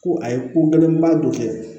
Ko a ye ko gɛlɛn ba dɔ kɛ